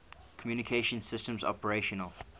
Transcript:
communication systems operational